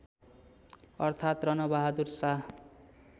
अर्थात रणबहादुर शाह